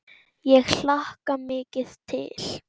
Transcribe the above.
Ég hlakka mikið til.